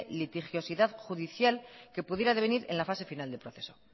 litigiosidad judicial que pudiera devenir en la fase final del proceso